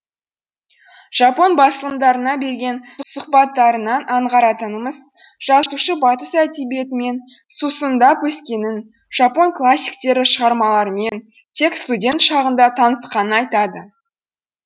жапон басылымдарына берген сұхбаттарынан аңғаратынымыз жазушы батыс әдебиетімен сусындап өскенін жапон классиктері шығармаларымен тек студент шағында танысқанын айтады